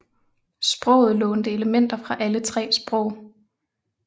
Sproget lånte elementer fra alle tre sprog